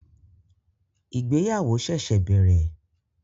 Ìgbéyàwó ṣẹ̀ṣẹ̀ bẹ̀rẹ̀